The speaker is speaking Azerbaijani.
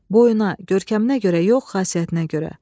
Boyuna, görkəminə görə yox, xasiyyətinə görə.